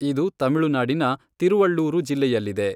ಇದು ತಮಿಳುನಾಡಿನ ತಿರುವಳ್ಳೂರು ಜಿಲ್ಲೆಯಲ್ಲಿದೆ.